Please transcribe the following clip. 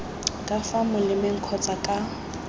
ka fa molemeng kgotsa ka